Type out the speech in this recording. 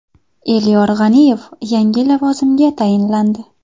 Elyor G‘aniyev yangi lavozimga tayinlandi.